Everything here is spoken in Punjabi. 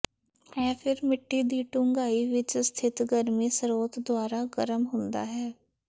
ਇਹ ਫਿਰ ਮਿੱਟੀ ਦੀ ਡੂੰਘਾਈ ਵਿੱਚ ਸਥਿਤ ਗਰਮੀ ਸਰੋਤ ਦੁਆਰਾ ਗਰਮ ਹੁੰਦਾ ਹੈ